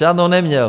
Žádnou neměl.